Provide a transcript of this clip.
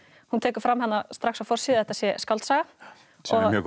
hún tekur fram þarna strax á forsíðu að þetta sé skáldsaga sem er mjög gott